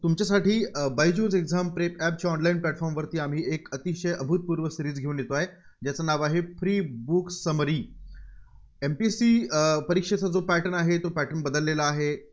तुमच्यासाठी अं Byju's exam prep app ची online platform वरती आम्ही एक अतिशय अभूतपूर्व Series घेऊन येतोय, ज्याचं नाव आहे, Free Book SummaryMPSC परीक्षेचा जो pattern आहे? तो Pattern बदललेला आहे.